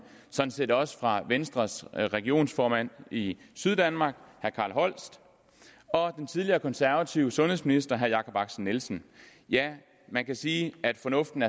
sådan set også fra venstres regionsformand i syddanmark carl holst og den tidligere konservative sundhedsminister jakob axel nielsen ja man kan sige at fornuften